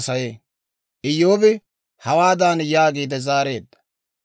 Iyyoobi hawaadan yaagiide zaareedda;